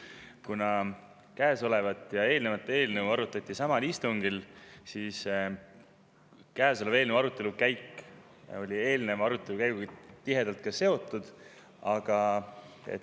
Kuna käesolevat ja eelnevat eelnõu arutati samal istungil, siis oli käesoleva eelnõu arutelu käik eelneva arutelu käiguga tihedalt seotud.